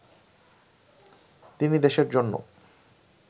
তিনি দেশের জন্য